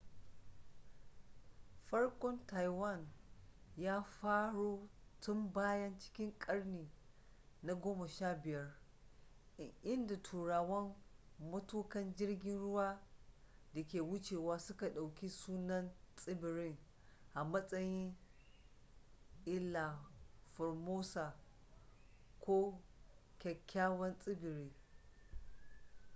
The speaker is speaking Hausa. farkon taiwan ya faro tun baya cikin karni na 15 inda turawa matukan jirgin ruwa da ke wucewa suka ɗauki sunan tsibirin a matsayin iiha formosa ko kyakyawan tsibiri